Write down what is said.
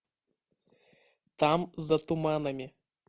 там за туманами